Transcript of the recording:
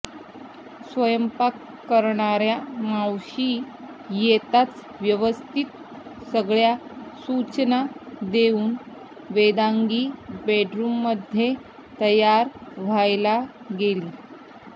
स्वयंपाक करणाऱ्या मावशी येताच व्यवस्थित सगळ्या सुचना देऊन वेदांगी बेडरूममध्ये तयार व्हायला गेली